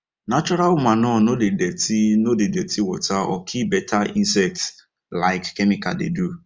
natural manure no dey dirty no dey dirty water or kill better insects like chemical dey do